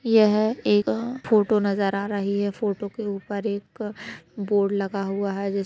यह एक फोटो नजर आ रही है फोटो के ऊपर एक बोर्ड लगा हुआ है जिस --